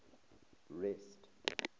rest